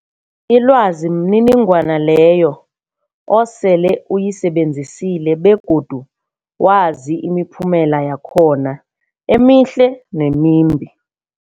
Ilwazi mniningwana leyo osele uyisebenzisile begodu wazi imiphumela yakhona emihle nemimbi.